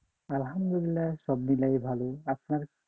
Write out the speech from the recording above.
আলহামদুলিল্লাহ সব মিলায় ভালো, আপনার?